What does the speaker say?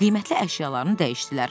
Onlar qiymətli əşyalarını dəyişdilər.